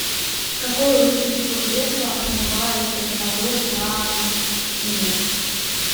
какое лучше всего средство отмывает налет на стене